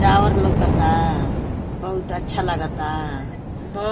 Tower लोकता। बहुत अच्छा लागता। ब